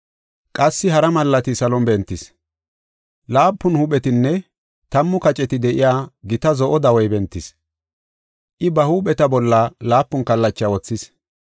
Qassi hara malaati salon bentis. Laapun huuphetinne tammu kaceti de7iya gita zo7o dawey bentis. I ba huupheta bolla laapun kallacha wothis.